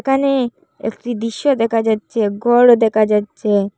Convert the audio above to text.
এখানে একটি দৃশ্য দেখা যাচ্ছে ঘরও দেখা যাচ্ছে।